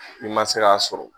I ma se k'a sɔrɔ.